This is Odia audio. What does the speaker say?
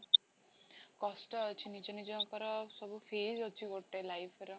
କଷ୍ଟ ଅଛି ନିଜ ନିଜଙ୍କର ସବୁ fees ଅଛି ଗୋଟେ life ର